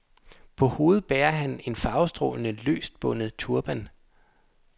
På hovedet bærer han en farvestrålende, løst bundet turban.